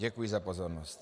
Děkuji za pozornost.